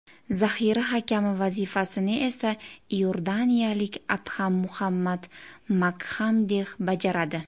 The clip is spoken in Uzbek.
Zaxira hakami vazifasini esa iordaniyalik Adham Muhammad Makxamdeh bajaradi.